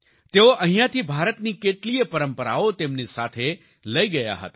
તેઓ અહિંયાથી ભારતની કેટલીયે પરંપરાઓ તેમની સાથે લઈ ગયા હતા